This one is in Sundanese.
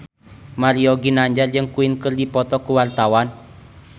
Mario Ginanjar jeung Queen keur dipoto ku wartawan